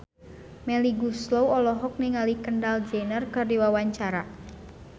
Melly Goeslaw olohok ningali Kendall Jenner keur diwawancara